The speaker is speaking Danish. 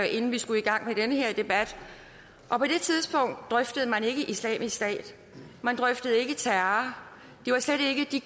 inden vi skulle i gang med den her debat og på det tidspunkt drøftede man ikke islamisk stat og man drøftede ikke terror det var slet ikke de